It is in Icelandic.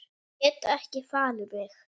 Get ekki falið mig.